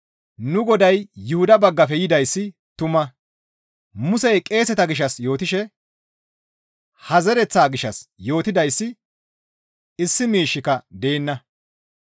Nu Goday Yuhuda baggafe yidayssi tuma; Musey qeeseta gishshas yootishe ha zereththaa gishshas yootidayssi issi miishshika deenna.